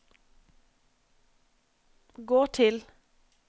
gå til